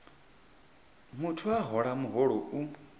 muthu a hola muholo u